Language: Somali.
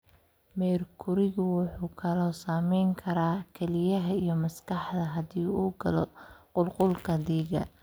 Meerkurigu wuxuu kaloo saameyn karaa kelyaha iyo maskaxda haddii uu galo qulqulka dhiigga.